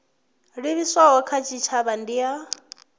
livhiswaho kha tshitshavha ndi ya